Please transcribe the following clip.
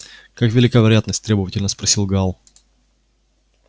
как велика вероятность требовательно спросил гаал